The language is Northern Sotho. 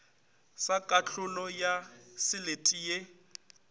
sa kahlolo ya selete ye